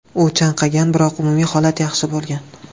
U chanqagan, biroq umumiy holati yaxshi bo‘lgan.